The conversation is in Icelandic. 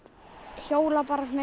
hjóla